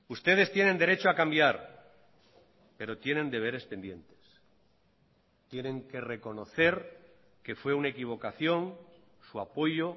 ustedes tienen derecho a cambiar pero tienen deberes pendientes tienen que reconocer que fue una equivocación su apoyo